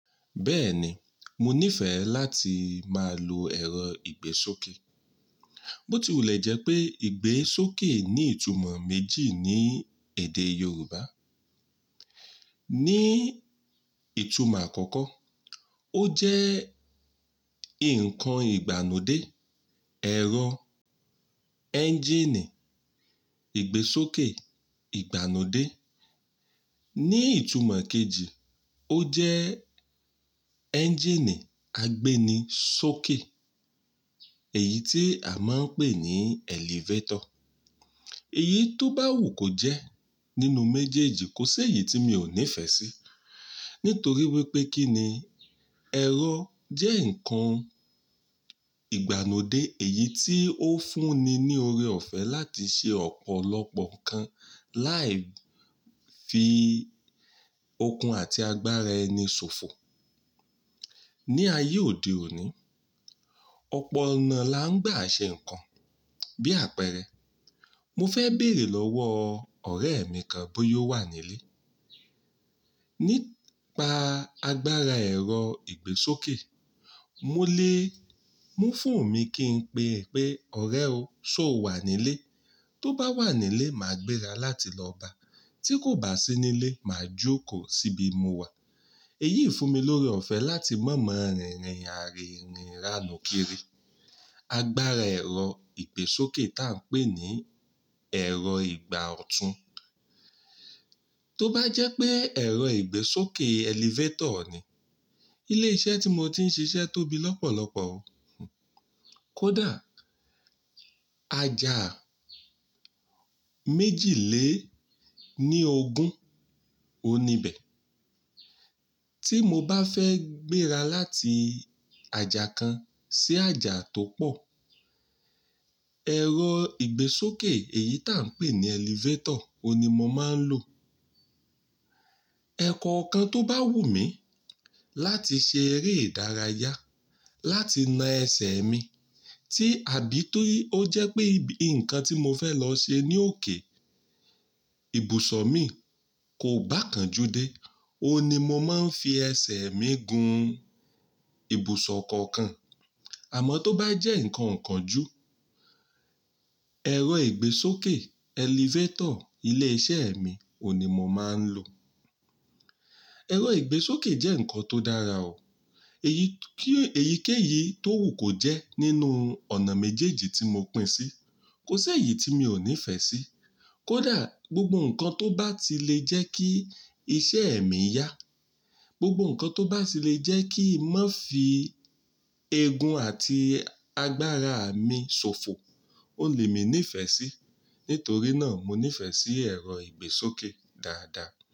Bẹ́ẹ̀ni, mo nífẹ̀ẹ́ láti máa lo ẹ̀rọ ìgbésókè. Bó ti wùlẹ̀ jẹ́ pé ìgbésókè ní ìtumọ̀ méjì ní èdè Yorùbá. Ni ìtumọ̀ àkọ́kọ́, ó jẹ́ ǹkan ìgbàlodé, ẹ̀rọ ẹ́ńjínì ìgbésókè ìgbàlodé. Ni ìtumọ̀ kejì, ó jẹ́ ẹ́ńjínì agbéni sókè, èyí tí a máa ń pè ní elevator. Èyí tó bá wù kó jẹ́ nínú méjèèjì, kò ṣe èyí tí mi ò nífẹ̀ẹ́ sí, nítorí wípé kíni ẹ̀rọ jẹ́ ǹkan ìgbàlodé èyí tí ó fún ni ní oore ọ̀fẹ́ láti ṣe ọ̀pọ̀lọpọ̀ nǹkan láì fi okun àti agbára ẹni ṣòfò. Ni ayé òde òní, ọ̀pọ̀ ọ̀nà la ń gbà ṣe ǹkan, bí àpẹẹrẹ, mo fẹ́ bèrè lọ́wọ́ ọ̀rẹ́ mi kan bóyá ó wà nílé. Nípa agbára ẹ̀rọ ìgbésókè, mo lè, mú foonu mi kí n pe pé ọ̀rẹ́ o, ṣó wà nílé, tó bá wà nílé, màá gbéra láti lọ báa, tí kò bá sí nílé, màá jókòó síbi mo wà. Èyí fún mi lórí ọ̀fẹ́ láti má mọ rìnrìn are irín iránu kiri. Agbára ẹ̀rọ ìgbésókè táa ń pè ní ẹ̀rọ ìgbà ọ̀tún. Tó bá jẹ́ pé ẹ̀rọ ìgbésókè elevator ni. Ilé iṣẹ́ tí mo ti ń ṣiṣẹ́ tóbi lọ́pọ̀lọpọ̀ o. Kódà àjà méjì lé ní ogún, oun níbẹ̀. Tí mo bá fẹ́ gbéra láti àjà kan sí àjà tó pọ̀, ẹ̀rọ ìgbésókè èyí tà ń pè ní elevator òní mo máa ń lò. Ẹ̀kọkan tó bá wù mí láti ṣe eré ìdárayá, láti na ẹsẹ̀ mi, tí àbí torí ó jẹ́ pé ǹkan tí mo fẹ́ lọ ṣe ní òkè, ibùsọ̀ mi kò bá kan jú dé, òní mo máa ń fi ẹsẹ̀ mi gun ibùsọ̀ kankan. Àmọ́ tó bá jẹ́ ǹkan okánjú, ẹ̀rọ ìgbésókè elevator ilé iṣẹ́ mi òní mo máa ń lò. Ẹ̀rọ ìgbésókè jẹ́ ǹkan tó dára o. Èyí kí, èyíkéyìí tó wù kó jẹ́ nínú ọ̀nà méjèèjì tí mo pín sí, kò ṣe èyí tí mi ò nífẹ̀ẹ́ sí. Kódà gbogbo ǹkan tó bá ti lè jẹ́ kí iṣẹ́ mi yá, gbogbo ǹkan tó bá ti lè jẹ́ kí n má fi egun àti agbára mi ṣòfò, òun le mi nífẹ̀ẹ́ sí. Nítorí náà mo nífẹ̀ẹ́ sí ẹ̀rọ ìgbésókè dáadáa.